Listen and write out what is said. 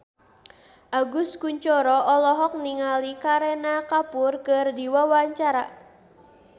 Agus Kuncoro olohok ningali Kareena Kapoor keur diwawancara